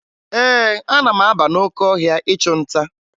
Ee, ana m aba n'oke ahịa ịchụ nta